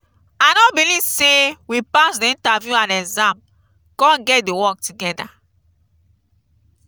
i no believe say we pass the interview and exam come get the work together.